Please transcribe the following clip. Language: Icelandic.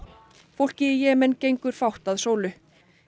fólki í Jemen gengur fátt að sólu